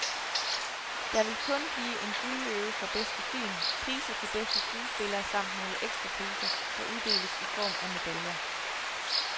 Der vil kun blive en guldløve for bedste film, priser til bedste skuespillere samt nogle ekstra priser, der uddeles i form af medaljer.